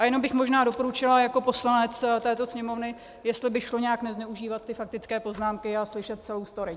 A jenom bych možná doporučila jako poslanec této Sněmovny, jestli by šlo nějak nezneužívat ty faktické poznámky a slyšet celou story.